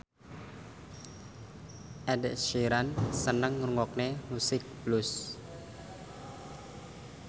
Ed Sheeran seneng ngrungokne musik blues